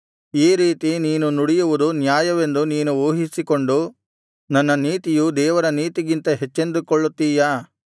ಈ ರೀತಿ ನೀನು ನುಡಿಯುವುದು ನ್ಯಾಯವೆಂದು ನೀನು ಊಹಿಸಿಕೊಂಡು ನನ್ನ ನೀತಿಯು ದೇವರ ನೀತಿಗಿಂತ ಹೆಚ್ಚೆಂದುಕೊಳ್ಳುತ್ತಿಯಾ